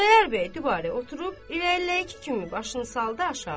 Xudayar bəy dibari oturub, irəliləyəki kimi başını saldı aşağı.